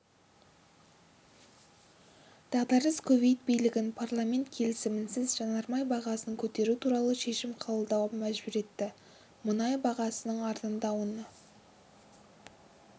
дағдарыс кувейт билігін парламент келісімінсіз жанармай бағасын көтеру туралы шешім қабылдауға мәжбүр етті мұнай бағасының арзандауына